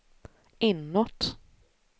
inåt